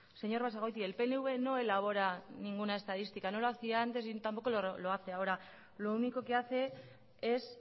señor basagoiti el pnv no elabora ninguna estadística no lo hacía antes y tampoco lo hace ahora lo único que hace es